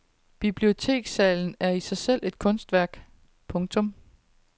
Bibliotekssalen er i sig selv et kunstværk. punktum